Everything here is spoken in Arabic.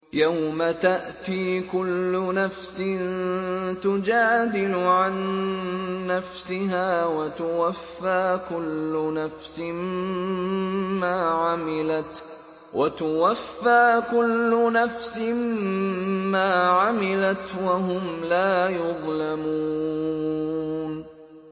۞ يَوْمَ تَأْتِي كُلُّ نَفْسٍ تُجَادِلُ عَن نَّفْسِهَا وَتُوَفَّىٰ كُلُّ نَفْسٍ مَّا عَمِلَتْ وَهُمْ لَا يُظْلَمُونَ